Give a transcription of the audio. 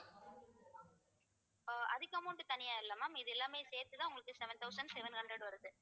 ஆஹ் அதுக்கு amount தனியா இல்லை ma'am இது எல்லாமே சேர்த்துதான் உங்களுக்கு seven thousand seven hundred வருது